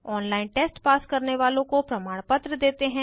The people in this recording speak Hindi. ऑनलाइन टेस्ट पास करने वालोँ को प्रमाणपत्र देते हैं